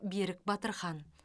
берік батырхан